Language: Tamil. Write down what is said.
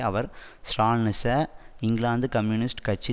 அவர் ஸ்ராலினிச இங்கிலாந்து கம்யூனிஸ்ட் கட்சி